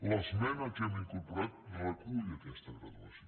l’esmena que hem incorporat recull aquesta graduació